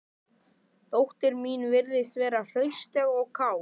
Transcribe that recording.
Dóttir mín virðist vera hraustleg og kát